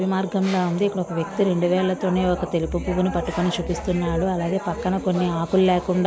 అడవి మార్గంలా ఉంది. ఇక్కడ ఒక వ్యక్తి రెండు వేళ్లతోనే ఒక తెలుపు పువ్వుని పట్టుకొని చూపిస్తున్నాడు. అలాగే పక్కన కొన్ని ఆకులు లేకుండా--